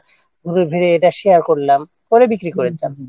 তারপর এটা Share করলাম পরে বিক্রি করে দিলাম